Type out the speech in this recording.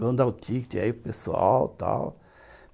Vamos dar o tíquete aí para o pessoal, tal.